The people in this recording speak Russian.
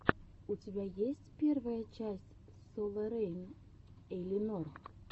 у тебя есть первая часть соларейн эйлинор